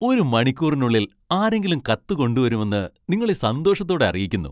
ഒരു മണിക്കൂറിനുള്ളിൽ ആരെങ്കിലും കത്ത് കൊണ്ടുവരുമെന്ന് നിങ്ങളെ സന്തോഷത്തോടെ അറിയിക്കുന്നു.